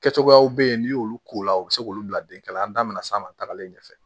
Kɛ cogoyaw bɛ ye n'i y'olu k'u la u bɛ se k'olu bila den ka na an da minɛ san ma tagalen ɲɛ fɛ